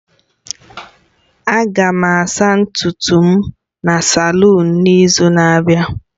Aga m asa ntutu m na salun n'izu na-abịa